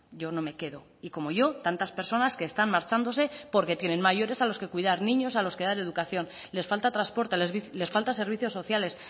yo no me quedo y como yo tantas personas que están marchándose porque tienen mayores a los que cuidar niños a los que dar educación les falta transporte les falta servicios sociales